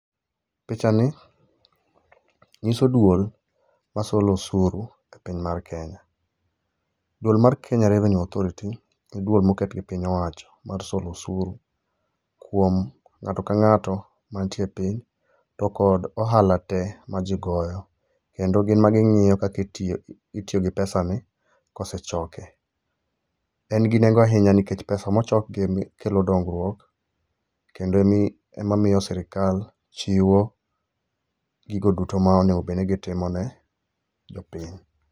Picha ni nyiso duol ma solo osuru e piny mar Kenya. Duol mar Kenya revenue authourity e duol moket gi piny owacho mar solo osuru kuom ng'ato ka ng'ato mantie epiny to kod ohala tee ma ji goyo. Kendo gin ema gi ng'iyi kaka itiyo gi [cspesa ni kose choke. En gi nengo ahinya nikech pesa mo chokgi kelo dongruok. Kendo en emami ema miyo sirikal chiwo gigo duto ma onego bedni gi timone jo piny.